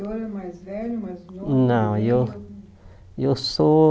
O senhor é mais velho, mais novo? Não eu eu sou